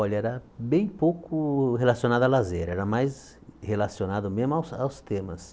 Olha, era bem pouco relacionado a lazer, era mais relacionado mesmo aos aos temas.